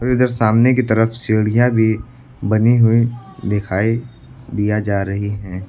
और इधर सामने की तरफ सीढियाँ भी बनी हुई दिखाई दिया जा रही हैं।